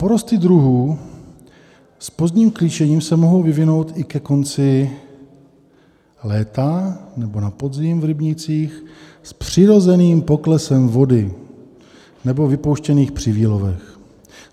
Porosty druhů s pozdním klíčením se mohou vyvinout i ke konci léta nebo na podzim v rybnících s přirozeným poklesem vody nebo vypuštěných při výlovech.